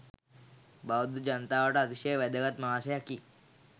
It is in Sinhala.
බෞද්ධ ජනතාවට අතිශය වැදගත් මාසයකි.